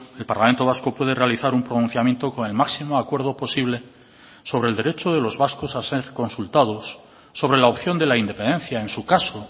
el parlamento vasco puede realizar un pronunciamiento con el máximo acuerdo posible sobre el derecho de los vascos a ser consultados sobre la opción de la independencia en su caso